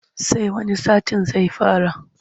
Sai wani satin zai fara.